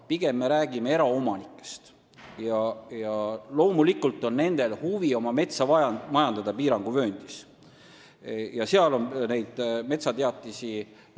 Pigem me räägime eraomanikest, kellel on loomulikult huvi piiranguvööndis oma metsa majandada.